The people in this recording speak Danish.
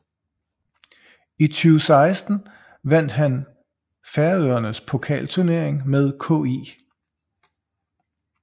I 2016 vandt han Færøernes pokalturnering med KÍ